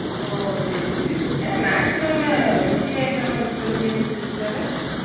ஒ சேரிசேரி என்ன நயத்து கிழம busy அ இல்லாம விட்டுல பிரியாணி செஞ்சுருக்காரு